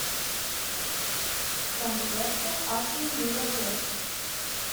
трансляция астон вилла лестер